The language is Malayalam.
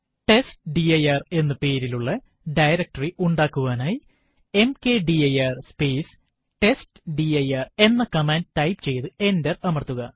ടെസ്റ്റ്ഡിർ എന്ന പേരിലുള്ള ഡയറക്ടറി ഉണ്ടാക്കുവാനായി മക്ദിർ സ്പേസ് ടെസ്റ്റ്ഡിർ എന്ന കമാൻഡ് ടൈപ്പ് ചെയ്തു എന്റർ അമർത്തുക